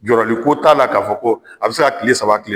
Jɔrɔli ko t'a la ka fɔ ko ,a bi se ka kile saba kile